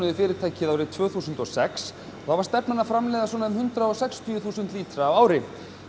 fyrirtækið árið tvö þúsund og sex og þá var stefnan að framleiða svona um hundrað og sextíu þúsund lítra á ári